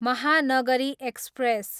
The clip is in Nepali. महानगरी एक्सप्रेस